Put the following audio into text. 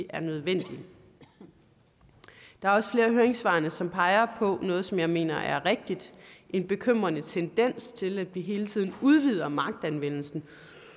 er nødvendige der er også flere af høringssvarene som peger på noget som jeg mener er rigtigt en bekymrende tendens til at vi hele tiden udvider magtanvendelsen